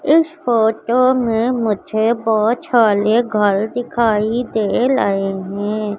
इस फोटो में मुझे बहोत सारे घर दिखाई दे लहे हैं।